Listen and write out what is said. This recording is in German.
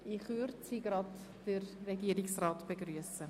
In Kürze können wir Regierungsrat Schnegg begrüssen.